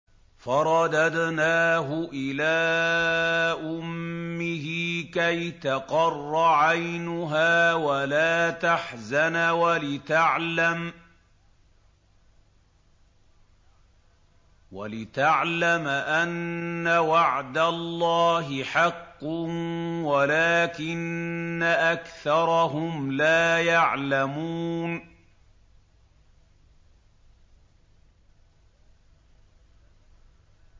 فَرَدَدْنَاهُ إِلَىٰ أُمِّهِ كَيْ تَقَرَّ عَيْنُهَا وَلَا تَحْزَنَ وَلِتَعْلَمَ أَنَّ وَعْدَ اللَّهِ حَقٌّ وَلَٰكِنَّ أَكْثَرَهُمْ لَا يَعْلَمُونَ